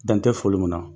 Dan tɛ foli min na